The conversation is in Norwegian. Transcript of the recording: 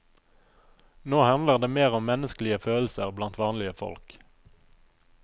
Nå handler det mer om menneskelige følelser blant vanlige folk.